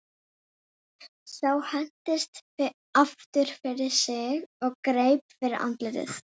Sá hentist aftur fyrir sig og greip fyrir andlitið.